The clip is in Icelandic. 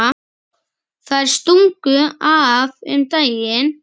Þær stungu af um daginn.